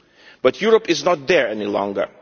But Europe is not there any longer.